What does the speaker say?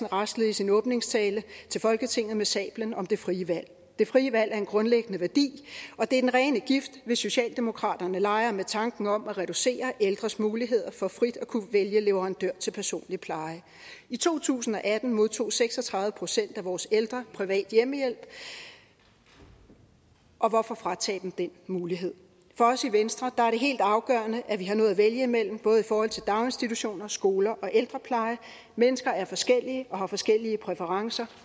raslede i sin åbningstale til folketinget med sablen om det frie valg det frie valg er en grundlæggende værdi og det er den rene gift hvis socialdemokraterne leger med tanken om at reducere ældres muligheder for frit at kunne vælge leverandør til personlig pleje i to tusind og atten modtog seks og tredive procent af vores ældre privat hjemmehjælp og og hvorfor fratage dem den mulighed for os i venstre er helt afgørende at vi har noget at vælg imellem både i forhold til daginstitutioner skoler og ældrepleje mennesker er forskellige og har forskellige præferencer